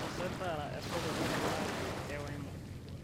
tapasali taara esocket e pulag e wemo